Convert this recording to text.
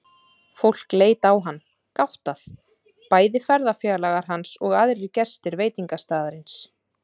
Fólk leit á hann, gáttað, bæði ferðafélagar hans og aðrir gestir veitingastaðarins.